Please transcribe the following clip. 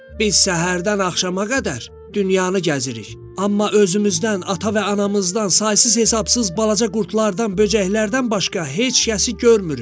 Biz səhərdən axşama qədər dünyanı gəzirik, amma özümüzdən, ata və anamızdan, saysız-hesabsız balaca qurtlardan, böcəklərdən başqa heç kəsi görmürük.